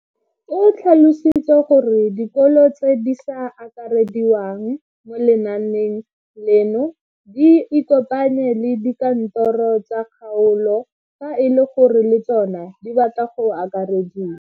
O tlhalositse gore dikolo tse di sa akarediwang mo lenaaneng leno di ikopanye le dikantoro tsa kgaolo fa e le gore le tsona di batla go akarediwa.